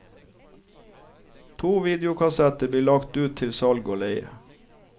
To videokassetter blir lagt ut til salg og leie.